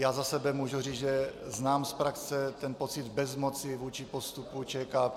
Já za sebe můžu říct, že znám z praxe ten pocit bezmoci vůči postupu ČKP.